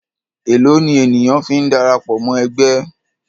Èlòó ni ènìyàn fi ń darapọ̀ mọ́ ẹgbẹ́?